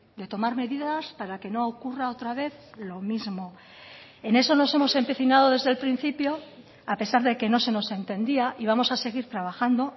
de tomar medidas para que no ocurra otra vez lo mismo en eso nos hemos empecinado desde el principio a pesar de que no se nos entendía y vamos a seguir trabajando